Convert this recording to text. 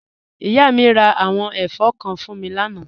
Ìyà mi rá àwọn ẹ̀fọn kán fún mí lànà.